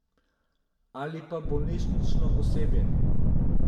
Ali pa bolnišnično osebje.